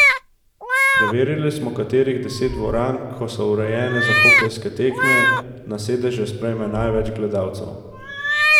Preverili smo, katerih deset dvoran, ko so urejene za hokejske tekme, na sedeže sprejme največ gledalcev.